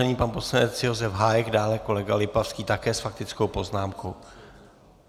Nyní pan poslanec Josef Hájek, dále kolega Lipavský také s faktickou poznámkou.